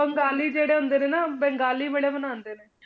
ਬੰਗਾਲੀ ਜਿਹੜੇ ਹੁੰਦੇ ਨੇ ਨਾ ਬੰਗਾਲੀ ਬੜੇ ਮਨਾਉਂਦੇ ਨੇ।